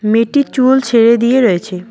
মেয়েটি চুল ছেড়ে দিয়ে রয়েছে।